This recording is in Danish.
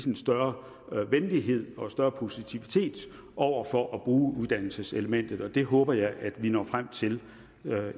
en større venlighed og større positivitet over for at bruge uddannelseselementet og det håber jeg at vi når frem til